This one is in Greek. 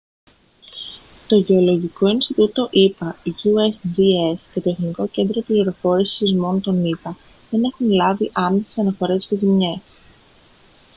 το γεωλογικό ινστιτούτο ηπα usgs και το εθνικό κέντρο πληροφόρησης σεισμών των ηπα δεν έχουν λάβει άμεσες αναφορές για ζημιές